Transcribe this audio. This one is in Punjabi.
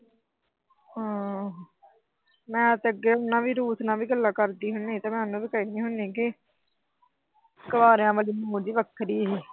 ਮੈਂ ਤਾਂ ਹੁਣ ਅੱਗੇ ਰੂਸ ਨਾਲ ਵੀ ਗੱਲਾਂ ਕਰਦੀ ਹੁੰਦੀ ਆ ਤੇ ਉਹਨੂੰ ਕਹਿੰਦੀ ਹੁੰਦੀ ਆ ਕਿ ਕੁਆਰੀਆਂ ਵਾਲੀ ਮੌਜ ਈ ਵੱਖਰੀ ਸੀ।